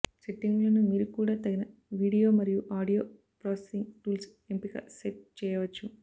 సెట్టింగులను మీరు కూడా తగిన వీడియో మరియు ఆడియో ప్రాసెసింగ్ టూల్స్ ఎంపిక సెట్ చేయవచ్చు